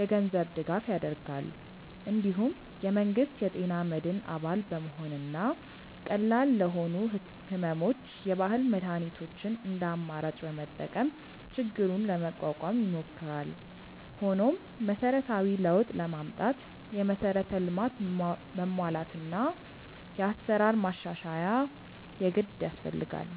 የገንዘብ ድጋፍ ያደርጋል። እንዲሁም የመንግስት የጤና መድን አባል በመሆንና ቀላል ለሆኑ ሕመሞች የባህል መድኃኒቶችን እንደ አማራጭ በመጠቀም ችግሩን ለመቋቋም ይሞክራል። ሆኖም መሰረታዊ ለውጥ ለማምጣት የመሠረተ ልማት መሟላትና የአሰራር ማሻሻያ የግድ ያስፈልጋል።